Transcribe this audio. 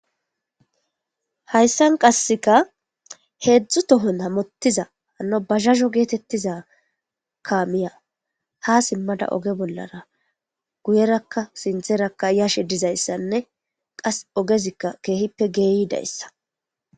Haysan qaseka hedzu tohon hamutiza hano bajajo getetiza kamey basa mala oge bollara guyeraka sinthera yishe dizaysane qas ogezika kehippe lo'izaysako